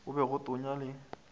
go be go tonya le